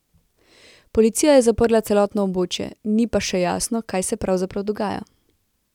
Policija je zaprla celotno območje, ni pa še jasno, kaj se pravzaprav dogaja.